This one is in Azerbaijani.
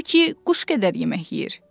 O ki, quş qədər yemək yeyir.